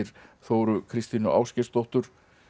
Þóru Kristínu Ásgeirsdóttur